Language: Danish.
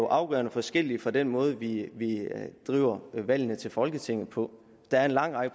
afgørende forskellige fra den måde vi driver valgene til folketinget på der er en lang række